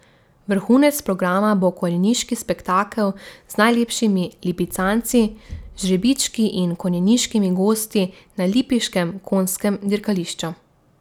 Vrhunec programa bo konjeniški spektakel z najlepšimi lipicanci, žrebički in konjeniškimi gosti na lipiškem konjskem dirkališču.